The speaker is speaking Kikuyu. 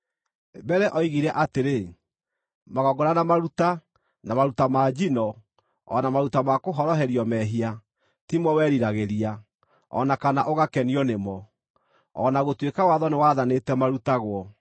Mbere oigire atĩrĩ, “Magongona na maruta, na maruta ma njino, o na maruta ma kũhoroherio mehia, ti mo weriragĩria, o na kana ũgakenio nĩmo” (o na gũtuĩka watho nĩwaathanĩte marutagwo).